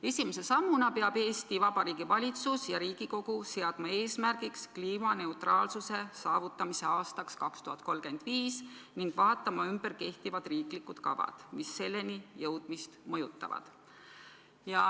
Esimese sammuna peab Eesti Vabariigi Valitsus ja Riigikogu seadma eesmärgiks kliimaneutraalsuse saavutamise aastaks 2035 ning vaatama ümber kehtivad riiklikud kavad, mis selleni jõudmist mõjutavad.